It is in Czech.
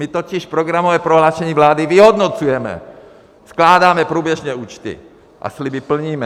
My totiž programové prohlášení vlády vyhodnocujeme, skládáme průběžně účty a sliby plníme.